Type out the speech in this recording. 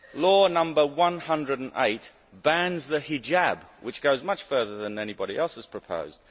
Law No 108 bans the hijab, which goes much further than anybody else has proposed.